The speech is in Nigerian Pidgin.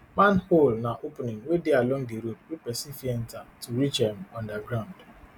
manhole na opening wey dey along di road wey pesin fit enta to reach um underground um